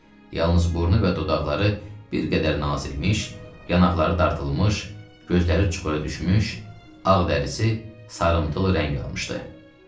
Yalnız burnu və dodaqları bir qədər nazilmiş, yanaqları dartılmış, gözləri çuxura düşmüş, ağ dərisi sarımtıl rəng almışdı.